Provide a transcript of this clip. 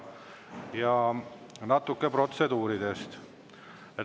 Ja natuke protseduuridest.